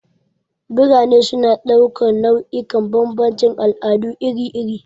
Birane suna ɗaukar nau'ikan bambancin al'adu iri-iri.